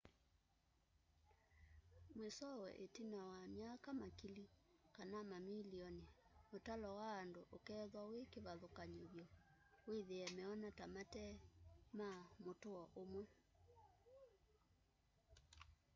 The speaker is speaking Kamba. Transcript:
mwisowe itina wa myaka makili ka mamilioni utalo wa andu ukeethwa wi kivathukany'o vyu withie meona ta mate ma mutuo umwe